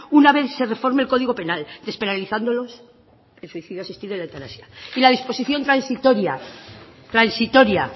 una vez se reforme el código penal despenalizándolos el suicidio asistido y la eutanasia y la disposición transitoria